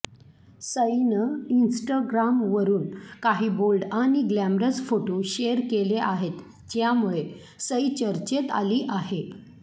सईनं इंस्टाग्रामवरून काही बोल्ड आणि ग्लॅमरस फोटो शेअर केले आहेत ज्यामुळे सई चर्चेत आली आहे